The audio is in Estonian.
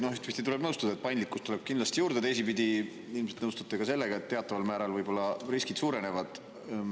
Noh, ühtepidi tuleb nõustuda, et paindlikkust tuleb kindlasti juurde, teisipidi ilmselt nõustute ka sellega, et teataval määral võib-olla riskid suurenevad.